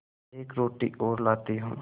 एक रोटी और लाती हूँ